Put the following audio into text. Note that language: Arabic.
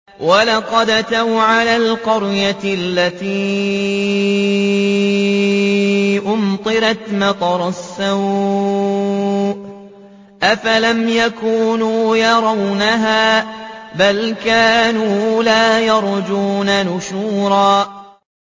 وَلَقَدْ أَتَوْا عَلَى الْقَرْيَةِ الَّتِي أُمْطِرَتْ مَطَرَ السَّوْءِ ۚ أَفَلَمْ يَكُونُوا يَرَوْنَهَا ۚ بَلْ كَانُوا لَا يَرْجُونَ نُشُورًا